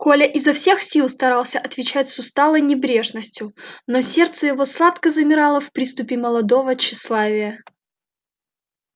коля изо всех сил старался отвечать с усталой небрежностью но сердце его сладко замирало в приступе молодого тщеславия